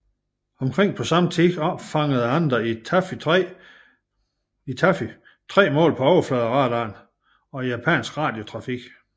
Omkring samme tid opfangede andre i Taffy 3 mål på overfladeradaren og japansk radiotrafik